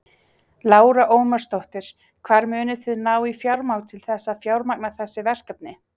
Lára Ómarsdóttir: Hvar munið þið ná í fjármagn til þess að fjármagna þessi verkefni?